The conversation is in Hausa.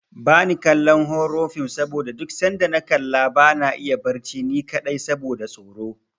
Bani kallon horo fim saboda duk sanda na kalla bana iya barci ni kaɗai saboda tsoro.